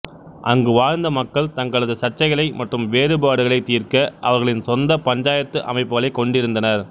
அங்கு வாழ்ந்த மக்கள் தங்களது சர்ச்சைகளை மற்றும் வேறுபாடுகளைத் தீர்க்க அவர்களின் சொந்த ப்ஞ்சாயத்து அமைப்புகளைக் கொண்டிருந்தனர்